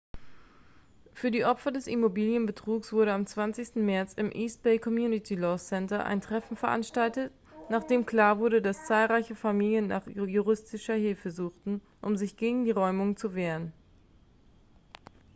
für die opfer des immobilienbetrugs wurde am 20. märz im east bay community law center ein treffen veranstaltet nachdem klar wurde dass zahlreiche familien nach juristischer hilfe suchten um sich gegen die räumungen zu wehren